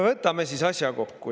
Võtame asja kokku.